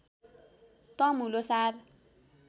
Tamu Lhosar